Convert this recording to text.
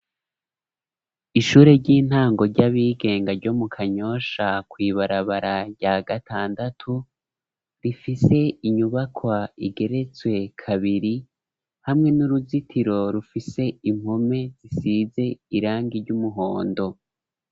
Ishure ry'intango ry'abigenga ryo mu Kanyosha kw'ibarabara rya gatandatu, rifise inyubakwa igeretswe kabiri, hamwe n'uruzitiro rufise impome zisize irangi ry'umuhondo.